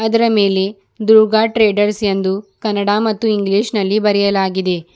ಅದರ ಮೇಲೆ ದುರ್ಗಾ ಟ್ರೇಡರ್ಸ್ ಎಂದು ಕನ್ನಡ ಮತ್ತು ಇಂಗ್ಲಿಷ್ ನಲ್ಲಿ ಬರೆಯಲಾಗಿದೆ.